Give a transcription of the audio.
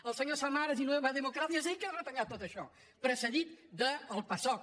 el senyor samaras i nueva democracia és ell que ha retallat tot això precedit del pasok